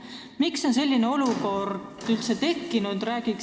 Miks on selline olukord üldse tekkinud?